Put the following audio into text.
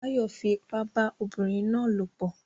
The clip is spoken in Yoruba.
Báyọ̀ fi ipá bá obìnrin náà lòpọ̀